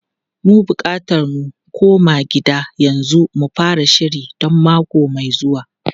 Muna bukatar mu koma gida yanzu mu fara shiri don mako mai zuwa.